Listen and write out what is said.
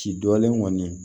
Ci dɔlen kɔni